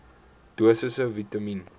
dosisse vitamien